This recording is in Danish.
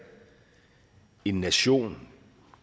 en åben nation